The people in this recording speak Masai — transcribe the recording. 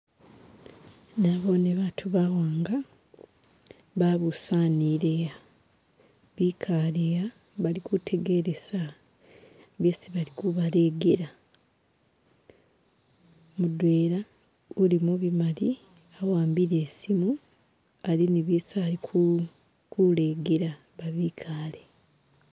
Naboone baatu bawanga babusanile'a bikale'a kutegelesa bisi bali kubalegela, mudwela uli mubimali wambile isimu ali ne bisi ali kulegela babikaale.